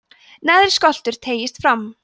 neðri skoltur teygist fram